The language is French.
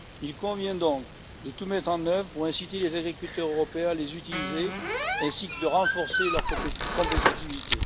Il convient donc de tout mettre en œuvre pour inciter les agriculteurs européens à les utiliser, ainsi que de renforcer leur compétitivité.